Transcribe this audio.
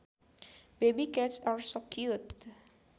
Baby cats are so cute